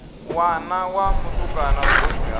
ṋwana wa mutukana vhuhosi ha